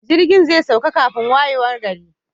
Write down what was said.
Jirgin zai sauka kafin wayewar gari.